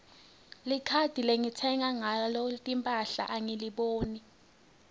likhadi lengitsenga ngalo timphahla angiliboni